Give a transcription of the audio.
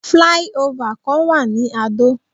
Fly over kan wà ní Adó.